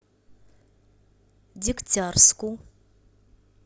дегтярску